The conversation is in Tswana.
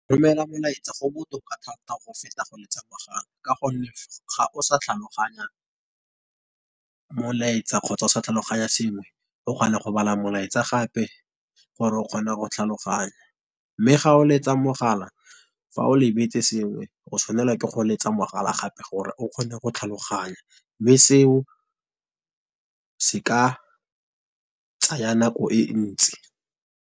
Go romela molaetsa go botoka thata go feta go letsa mogala ka gonne ga o sa tlhaloganya molaetsa kgotsa o sa tlhaloganya sengwe o kgona go bala molaetsa gape gore o kgona go tlhaloganya. Mme ga o letsa mogala, fa o lebetse sengwe go tshwanelwa ke go letsa mogala gape, gore o kgone go tlhaloganya, mme seo se ka tsaya nako e ntsi.